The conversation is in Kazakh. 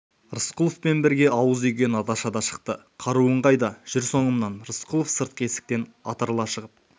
рысқұловпен бірге ауыз үйге наташа да шықты қаруың қайда жүр соңымнан рысқұлов сыртқы есіктен атырыла шығып